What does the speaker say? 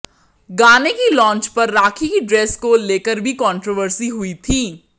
गाने की लॉन्च पर राखी की ड्रेस को लेकर भी कॉन्ट्रोवर्सी हुई थी